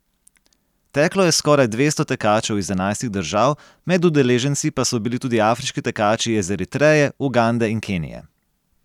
Teklo je skoraj dvesto tekačev iz enajstih držav, med udeleženci pa so bili tudi afriški tekači iz Eritreje, Ugande in Kenije.